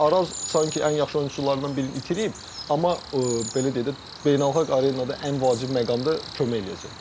Yəni Araz sanki ən yaxşı oyunçularından birini itirib, amma belə deyək də, beynəlxalq arenada ən vacib məqamda kömək eləyəcək.